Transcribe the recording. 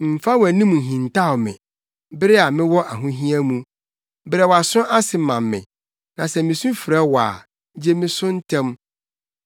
Mmfa wʼanim nhintaw me bere a mewɔ ahohia mu. Brɛ wʼaso ase ma me; na sɛ misu frɛ wo a, gye me so ntɛm.